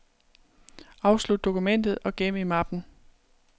Afslut dokumentet og gem i mappen.